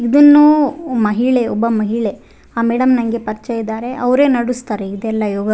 ಇದನ್ನು ಮಹಿಳೆ ಒಬ್ಬ ಮಹಿಳೆ ಆ ಮೇಡಂ ನಂಗೆ ಪರಿಚಯ ಇದ್ದಾರೆ ಅವ್ರೆ ನಡುಸ್ತಾರೆ ಇದೆಲ್ಲಾ ಯೋಗ --